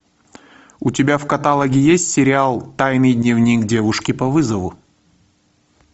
у тебя в каталоге есть сериал тайный дневник девушки по вызову